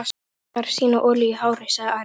Kirkjan þarf sína olíu í hárið, sagði Ari.